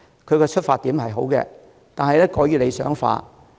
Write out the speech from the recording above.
他的出發點是好的，但過於理想化。